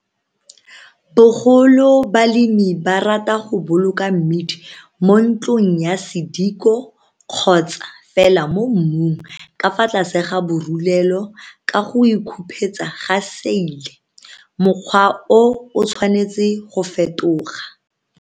Bogolo balemi ba rata go boloka mmidi mo ntlong ya sediko kgotsa fela mo mmung ka fa tlase ga borulelo ka go o khupetsa ka seile. Mokgwa o o tshwanetse go fetoga.